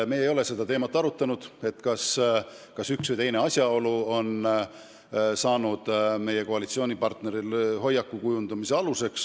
Me ei ole arutanud, kas üks või teine asjaolu on kujundanud meie koalitsioonipartneri hoiakut.